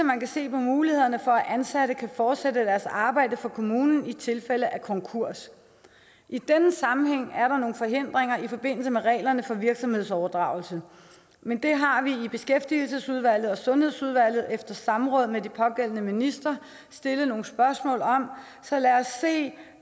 man se på mulighederne for at ansatte kan fortsætte deres arbejde for kommunen i tilfælde af konkurs i den sammenhæng er der nogle forhindringer i forbindelse med reglerne for virksomhedsoverdragelse men det har vi i beskæftigelsesudvalget og sundhedsudvalget efter samråd med de pågældende ministre stillet nogle spørgsmål om så lad os se